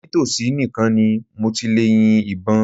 Nítòsí nìkan ni mo ti lè yin ìbọn.